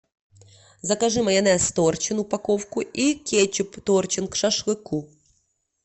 закажи майонез торчин упаковку и кетчуп торчин к шашлыку